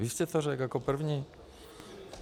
Vy jste to řekl jako první.